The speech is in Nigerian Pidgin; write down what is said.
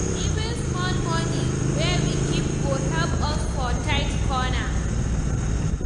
Even small money wey we keep go help us for tight corner.